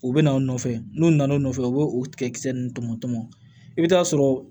U bɛ na u nɔfɛ n'u nana n'u nɔfɛ u b'o tigɛ kisɛ nunnu tɔmɔ tɔmɔ i bɛ taa sɔrɔ